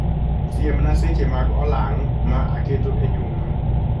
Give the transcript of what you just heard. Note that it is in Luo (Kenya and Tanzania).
Siemna seche mag olang' ma aketo e juma